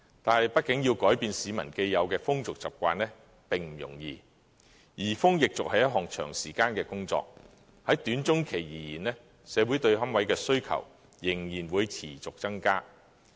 但是，畢竟要改變市民既有的風俗習慣並不容易，移風易俗是一項長時間的工作，在短中期而言，社會對龕位的需求仍然會持續增加。